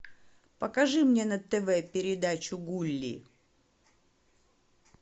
покажи мне на тв передачу гулли